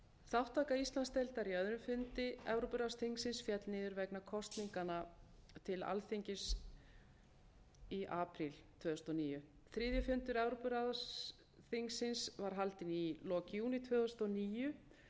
þátttaka íslandsdeildar í öðrum fundi evrópuráðsþingsins féll niður vegna kosninganna til alþingis í apríl tvö þúsund og níu þriðji fundur evrópuráðsþingsins var haldinn í lok júní tvö þúsund og níu